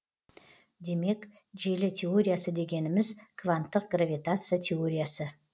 демек желі теориясы дегеніміз кванттық гравитация теориясы